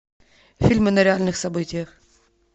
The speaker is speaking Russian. фильмы на реальных событиях